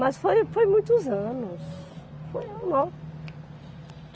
Mas foi, foi muitos anos. Foi no